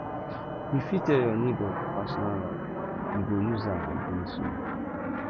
you fit tell your nebor your personal life e go use am against you